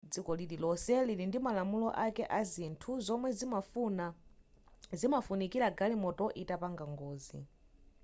dziko lilonse lili ndimalamulo ake azinthu zomwe zimafunikira galimoto itapanga ngozi